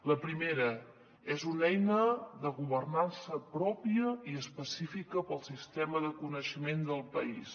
la primera és una eina de governança pròpia i específica per al sistema de coneixement del país